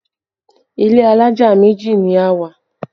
Ilé alájà méjì ni a wà